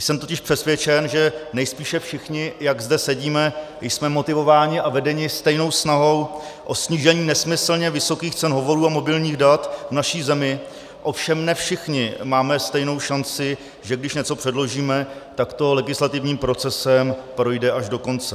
Jsem totiž přesvědčen, že nejspíše všichni, jak zde sedíme, jsme motivováni a vedeni stejnou snahou o snížení nesmyslně vysokých cen hovorů a mobilních dat v naší zemi, ovšem ne všichni máme stejnou šanci, že když něco předložíme, tak to legislativním procesem projde až do konce.